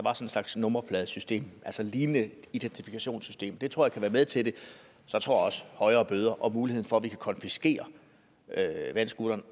slags nummerpladesystem altså et lignende identifikationssystem det tror jeg kunne være med til det jeg tror også at højere bøder og muligheden for at vi kan konfiskere vandscooteren